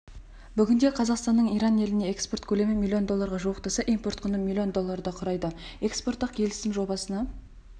бүгінде қазақстанның иран еліне экспорт көлемі миллион долларға жуықтаса импорт құны миллион долларды құрайды экспорттық келісім-жобасына